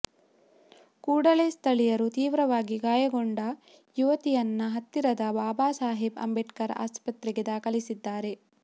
ಕೂಡಲೇ ಸ್ಥಳೀಯರು ತೀವ್ರವಾಗಿ ಗಾಯಗೊಂಡ ಯುವತಿಯನ್ನ ಹತ್ತಿರದ ಬಾಬಾಸಾಹೇಬ್ ಅಂಬೇಡ್ಕರ್ ಆಸ್ಪತ್ರೆಗೆ ದಾಖಲಿಸಿದ್ದಾರೆ